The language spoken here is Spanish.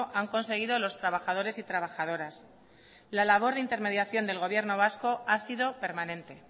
han conseguido los trabajadores y trabajadoras la labor de intermediación del gobierno vasco ha sido permanente